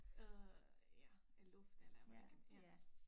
Øh ja af luft eller hvordan kan ja